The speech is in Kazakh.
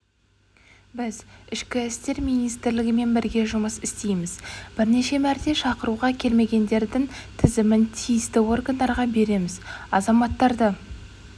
біз ішкі істер министрлігімен бірге жұмыс істейміз бірнеше мәрте шақыруға келмегендердің тізімін тиісті органдарға береміз азаматтарды